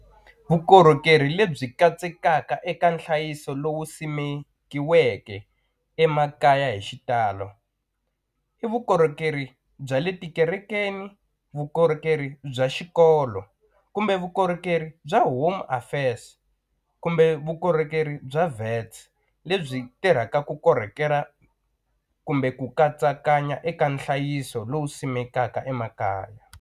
Vukorhokerhi lebyi katsekaka eka nhlayiso lowu simikiweke emakaya hi xitalo i vukorhokeri bya le tikerekeni vukorhokeri bya xikolo kumbe vukorhokeri bya home affairs kumbe vukorhokeri bya lebyi tirhaka ku korhokera kumbe ku katsakanya eka nhlayiso lowu simekaka emakaya.